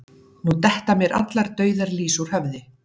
Nú detta mér allar dauðar lýs úr höfði